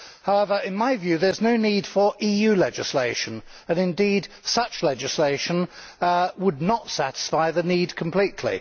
However, in my view, there is no need for EU legislation, and indeed such legislation would not satisfy the need completely.